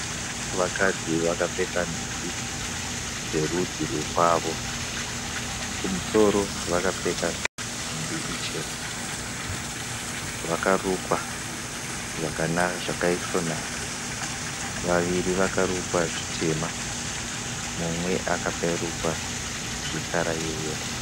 Vakadzi vakapfeka nhumbi dzerudzi rwekwavo. Kumusoro vakapfeka nhumbi ichena, vakarukwa zvakaisvonaka, vaviri vakarukwa zvitema, mumwe akarukwa zvekara yeyero